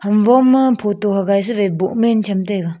ham wo ma photo hagaI sawaI bohmen cham taiga.